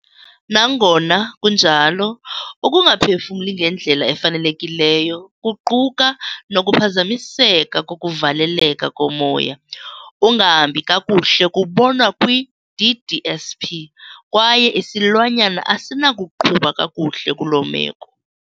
Nangona kunjalo, ukungaphefumli ngendlela efanelekileyo, kuquka nokuphazamiseka kokuvaleleka komoya ungahambi kakuhle kubonwa kwi- DDSP, kwaye isilwanyana asinakuqhuba kakuhle kuloo meko.